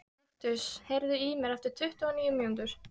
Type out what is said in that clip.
Kaktus, heyrðu í mér eftir tuttugu og níu mínútur.